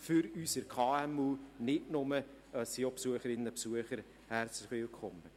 Dort sind auch Besucherinnen und Besucher herzlich willkommen.